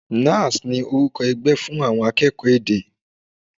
Nalls ni orúkọ ẹgbẹ́ fún àwọn akẹ́kọ̀ọ́ èdè.